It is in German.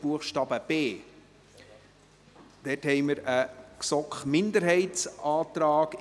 Buchstabe b. Dort haben wir einen GSoK-Minderheitsantrag.